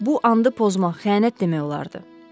Bu andı pozmaq xəyanət demək olardı.